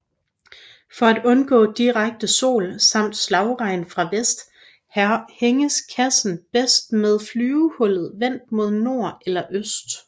For at undgå direkte sol samt slagregn fra vest hænges kassen bedst med flyvehullet vendt mod nord eller øst